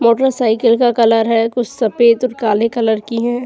Motorcycle का colour है कुछ सफेद और काले कलर की हैं।